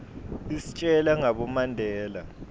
istjela ngabo mandela